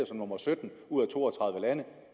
som nummer sytten ud af to og tredive lande